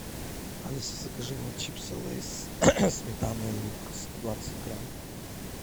алиса закажи мне чипсы лейс сметана и лук сто двадцать грамм